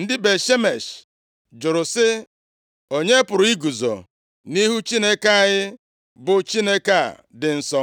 Ndị Bet-Shemesh jụrụ sị, “Onye pụrụ iguzo nʼihu Onyenwe anyị, bụ Chineke a dị nsọ?